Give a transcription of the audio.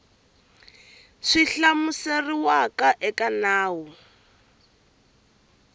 swi hlamuseriwaka eka nawu wa